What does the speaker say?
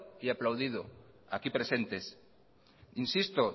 y aplaudido aquí presentes insisto